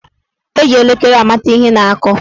Eji elekere amata ihe na-akụ.